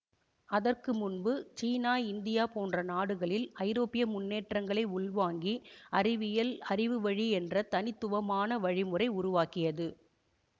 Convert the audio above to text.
அதற்கு முன்பு China India போன்ற நாடுகளில் ஐரோப்பிய முன்னேற்றங்களை உள்வாங்கி அறிவியல் அறிவு வழி என்ற தனித்துவமான வழிமுறை உருவாகியது